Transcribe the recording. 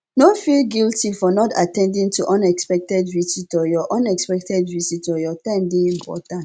no feel guilty for not at ten ding to unexpected visitor your unexpected visitor your time dey important